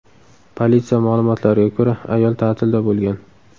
Politsiya ma’lumotlariga ko‘ra, ayol ta’tilda bo‘lgan.